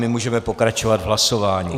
My můžeme pokračovat v hlasování.